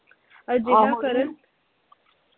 ਅਜਿਹਾ ਕਰਨ